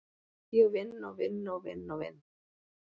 Ég vinn og vinn og vinn og vinn.